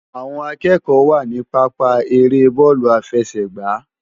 Awòn ákëkò wá ni pàpá ëré bòlú áfèsè gbá